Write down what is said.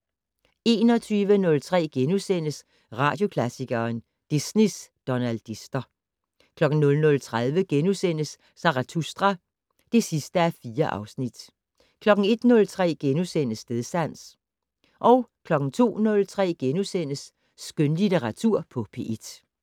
21:03: Radioklassikeren: Disneys donaldister * 00:30: Zarathustra (4:4)* 01:03: Stedsans * 02:03: Skønlitteratur på P1 *